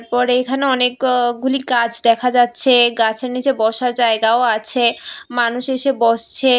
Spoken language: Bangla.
পরে এইখানে অনেকওগুলি গাছ দেখা যাচ্ছে গাছের নীচে বসার জায়গাও আছে মানুষ এসে বসছে।